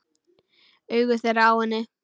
Augu þeirra á henni.